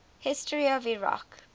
history of iraq